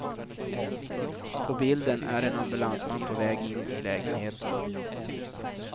På bilden är en ambulansman på väg in i lägenheten.